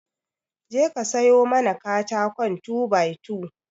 Je ka sayo mana katakon 2by2